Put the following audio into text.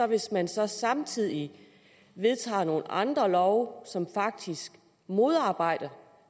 hvis man så samtidig vedtager nogle andre love som faktisk modarbejder